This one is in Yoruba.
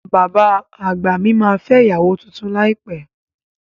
Bàbá àgbà mí ma fẹ́ ìyàwó tuntun láìpẹ́